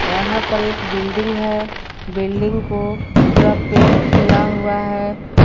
यहां पर एक बिल्डिंग है बिल्डिंग को पूरा पेंट किया हुआ है।